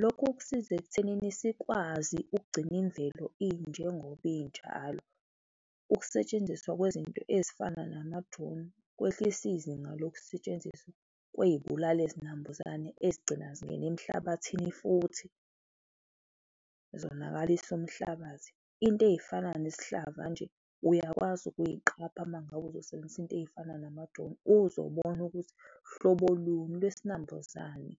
Lokho kusiza ekuthenini sikwazi ukugcina imvelo injengoba injalo. Ukusetshenziswa kwezinto ezifana nama-drone, kwehlisa izinga lokusetshenziswa kwezibulala izinambuzane ezigcina zingene emhlabathini futhi zonakalise umhlabathi. Into ezifana nesihlava nje uyakwazi ukuziqapha ma ngabe uzosebenzisa into ezifana nama-drone, uzobona ukuthi hlobo luni lwesinambuzane